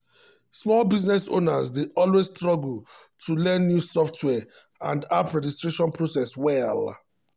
small business owners dey always struggle to learn new software and app registration processes well.